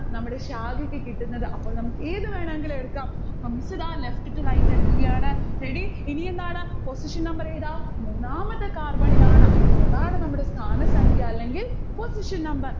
നമ്മുടെ ശാഖക്ക് കിട്ടുന്നത് അപ്പോൾ നമ്മുക്ക് ഏത് വേണമെങ്കിലും എടുക്കാം. അപ്പോ miss ഇതാ left to right എടുക്കുകയാണ് ready? ഇനി എന്താണ്? position number ഏതാ? മൂന്നാമത്തെ carbon ഇലാണ്. അപ്പോൾ അതാണ് നമ്മുടെ സ്ഥാന സംഖ്യ അല്ലെങ്കിൽ position number